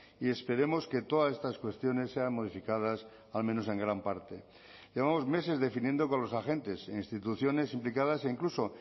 y esperemos que todas estas cuestiones sean modificadas al menos en gran parte llevamos meses definiendo con los agentes e instituciones implicadas e incluso